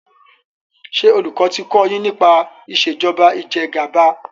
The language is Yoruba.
ṣe olùkó ti kò yín nípa Ìṣèjọba Ìjẹgàba.